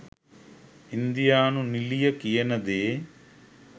ඉන්දියානු නිළිය කියන දේ